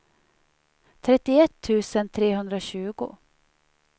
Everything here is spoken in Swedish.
trettioett tusen trehundratjugo